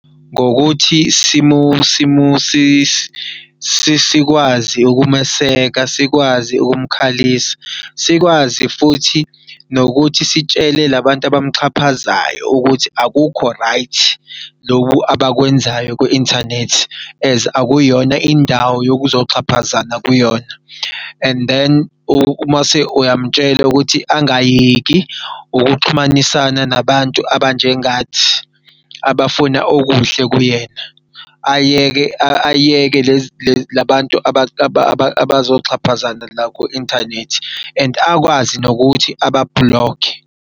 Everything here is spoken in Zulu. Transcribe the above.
Ngokuthi sikwazi ukumeseka, sikwazi ukumkhalisa, sikwazi futhi nokuthi sitshele labantu abamxhaphazayo ukuthi akukho right, lokhu abakwenzayo kwi-inthanethi akuyona indawo yokuzoxhaphazana kuyona. And then umase uyam'tshela ukuthi angayeki ukuxhumanisa nabantu abanjengathi abafuna okuhle kuyena. Ayeke labantu abazoxhaphazana la ku-inthanethi and akwazi nokuthi aba-block-khe.